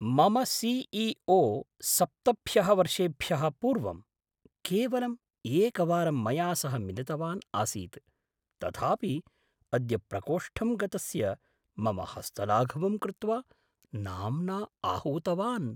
मम C E O सप्तभ्यः वर्षेभ्यः पूर्वं, केवलं एकवारं मया सह मिलितवान् आसीत्, तथापि अद्य प्रकोष्ठं गतस्य मम हस्तलाघवं कृत्वा, नाम्ना आहूतवान्।